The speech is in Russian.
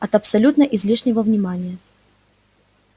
от абсолютно излишнего внимания